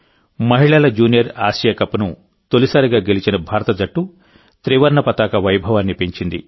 మహిళల junior Asia కప్ను తొలిసారిగా గెలిచిన భారత జట్టు త్రివర్ణ పతాక వైభవాన్ని పెంచింది